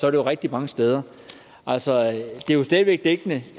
er rigtig mange steder altså det er jo stadig væk dækkende